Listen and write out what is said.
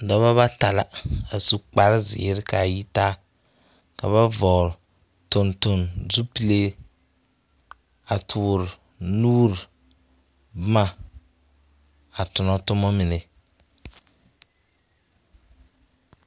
Pɔgebɔ bata la a su kparzeere ka a yi taa. Ka ba vɔgele tontonzupliee, a tore nuuri boma a tona toma mine.